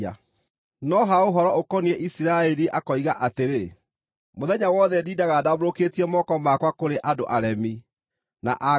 No ha ũhoro ũkoniĩ Isiraeli akoiga atĩrĩ, “Mũthenya wothe ndindaga ndambũrũkĩtie moko makwa kũrĩ andũ aremi, na a ngarari.”